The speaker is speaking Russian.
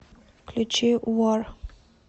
включи вор